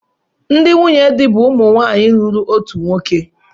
Ndị nwunye di bụ ụmụ nwanyị lụrụ otu nwoke